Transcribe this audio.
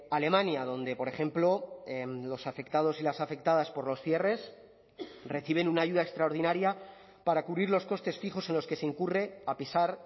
alemania donde por ejemplo los afectados y las afectadas por los cierres reciben una ayuda extraordinaria para cubrir los costes fijos en los que se incurre a pesar